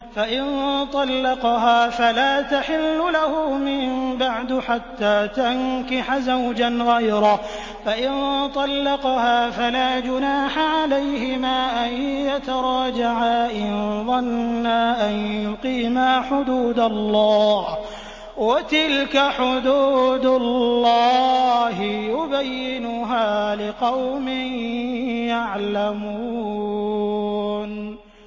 فَإِن طَلَّقَهَا فَلَا تَحِلُّ لَهُ مِن بَعْدُ حَتَّىٰ تَنكِحَ زَوْجًا غَيْرَهُ ۗ فَإِن طَلَّقَهَا فَلَا جُنَاحَ عَلَيْهِمَا أَن يَتَرَاجَعَا إِن ظَنَّا أَن يُقِيمَا حُدُودَ اللَّهِ ۗ وَتِلْكَ حُدُودُ اللَّهِ يُبَيِّنُهَا لِقَوْمٍ يَعْلَمُونَ